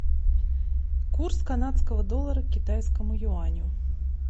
курс канадского доллара к китайскому юаню